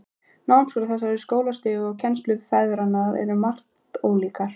Námskrá þessara skólastiga og kennsluaðferðirnar eru um margt ólíkar.